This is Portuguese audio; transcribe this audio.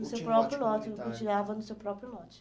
No seu próprio lote, continuava no seu próprio lote.